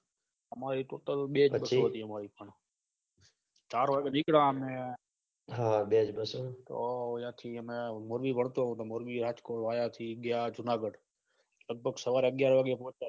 બે bus ઓ હતી અમારી ચાર વાગે નીકળવાનું તો ઓલા થી ને મોરબી વળતો હતો મોરબી રાજ્કોટ વાયા થી પછી ગયા જુનાગઢ લગભગ સવાર અગ્યાર પહોચ્યા